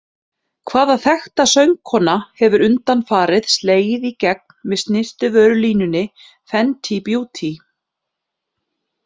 Hvaða þekkta söngkona hefur undanfarið slegið í gegn með snyrtivörulínunni Fenty Beauty?